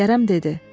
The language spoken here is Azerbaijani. Kərəm dedi: